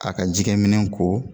K;a ka jikɛminɛ ko